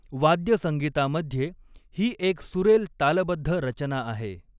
वाद्यसंगीतामध्ये, ही एक सुरेल तालबद्ध रचना आहे.